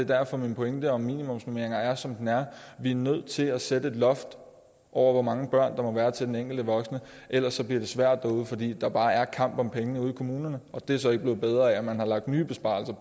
derfor min pointe om minimumsnormeringer er som den er vi er nødt til at sætte et loft over hvor mange børn der må være til den enkelte voksne ellers bliver det svært derude fordi der bare er kamp om pengene ude i kommunerne og det er så ikke blevet bedre af at man har lagt nye besparelser